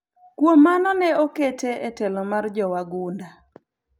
Kuom mano ne okete e telo mar jowagunda